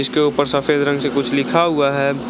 इसके ऊपर सफ़ेद रंग से कुछ लिखा हुआ है।